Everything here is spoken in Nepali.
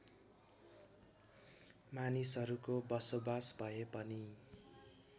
मानिसहरूको बसोबास भए पनि